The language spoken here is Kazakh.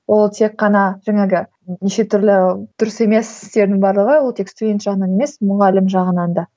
ол тек қана жаңағы неше түрлі дұрыс емес істердің барлығы ол тек студент жағынан емес мұғалім жағынан да